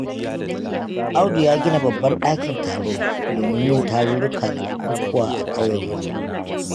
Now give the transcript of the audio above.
Audu ya gina babban ɗakin taro, domin yin tarurruka da bukukuwa a ƙauyenmu.